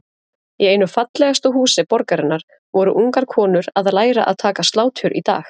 Í einu fallegasta húsi borgarinnar voru ungar konur að læra að taka slátur í dag?